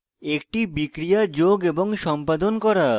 একটি বিক্রিয়া যোগ এবং সম্পাদন করা